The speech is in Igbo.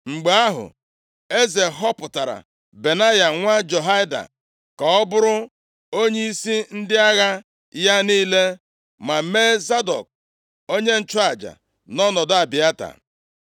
Mgbe ahụ, eze họpụtara Benaya, nwa Jehoiada ka ọ bụrụ onyeisi ndị agha ya niile, ma mee Zadọk onye nchụaja nʼọnọdụ Abịata.